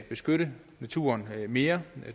beskytte naturen mere